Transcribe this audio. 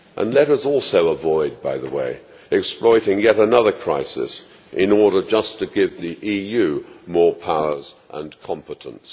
Let us also, by the way, avoid exploiting yet another crisis in order just to give the EU more powers and competence.